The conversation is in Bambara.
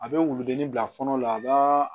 A bɛ wuludennin bila kɔnɔ la a b'a